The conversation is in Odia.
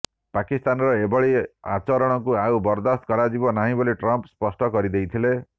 ପାକିସ୍ତାନର ଏଭଳି ଆଚରଣକୁ ଆଉ ବରଦାସ୍ତ କରାଯିବ ନାହିଁ ବୋଲି ଟ୍ରମ୍ପ ସ୍ପଷ୍ଟ କରିଦେଇଥିଲେ